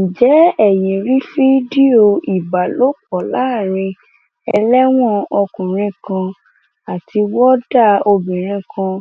ǹjẹ ẹyin rí fídíò ìbálòpọ láàrin ẹlẹwọn ọkùnrin àti wọọdà obìnrin kan